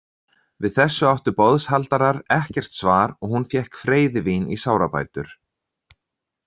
Við þessu áttu boðshaldarar ekkert svar og hún fékk freyðivín í sárabætur.